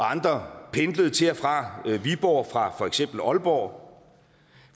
andre pendlede til og fra viborg fra for eksempel aalborg